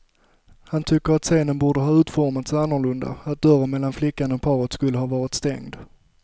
Han tycker att scenen borde ha utformats annorlunda, att dörren mellan flickan och paret skulle ha varit stängd.